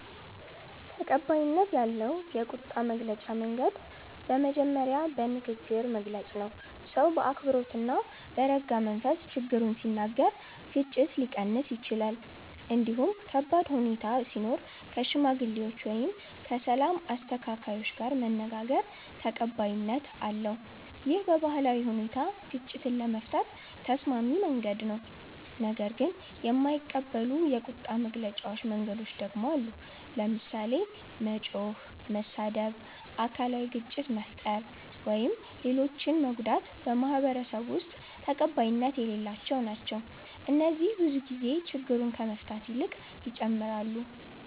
ተቀባይነት ያለው የቁጣ መግለጫ መንገድ በመጀመሪያ በንግግር መግለጽ ነው። ሰው በአክብሮት እና በረጋ መንፈስ ችግሩን ሲናገር ግጭት ሊቀንስ ይችላል። እንዲሁም ከባድ ሁኔታ ሲኖር ከሽማግሌዎች ወይም ከሰላም አስተካካዮች ጋር መነጋገር ተቀባይነት አለው። ይህ በባህላዊ ሁኔታ ግጭትን ለመፍታት ተስማሚ መንገድ ነው። ነገር ግን የማይቀበሉ የቁጣ መግለጫ መንገዶች ደግሞ አሉ። ለምሳሌ መጮህ፣ መሳደብ፣ አካላዊ ግጭት መፍጠር ወይም ሌሎችን መጎዳት በማህበረሰቡ ውስጥ ተቀባይነት የሌላቸው ናቸው። እነዚህ ብዙ ጊዜ ችግሩን ከመፍታት ይልቅ ይጨምራሉ